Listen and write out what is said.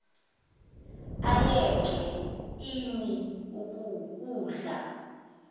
ayeke ini udla